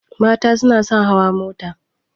Mata suna son hawa mota